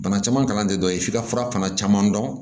Bana caman kalan tɛ dɔ ye f'i ka fura fana caman dɔn